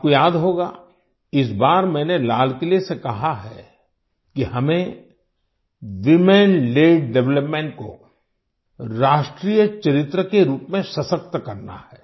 आपको याद होगा इस बार मैंने लाल किले से कहा है कि हमें वूमेन लेड डेवलपमेंट को राष्ट्रीय चरित्र के रूप में सशक्त करना है